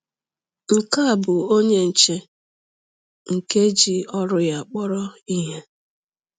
Nke a bụ onye nche nke ji ọrụ ya kpọrọ ihe!